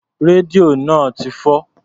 Rédíò náà ti fọ́.